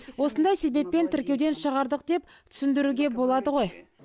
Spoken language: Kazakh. осындай себеппен тіркеуден шығардық деп түсіндіруге болады ғой